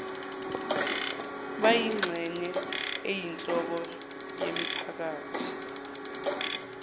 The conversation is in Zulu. bayingxenye eyinhloko yemiphakathi